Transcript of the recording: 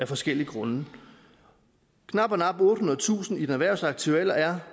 forskellige grunde knap og nap ottehundredetusind i den erhvervsaktive alder er